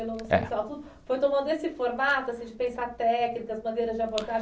Foi tomando esse formato, assim, de pensar técnicas, maneiras de abordagem,